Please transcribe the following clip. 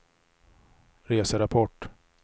reserapport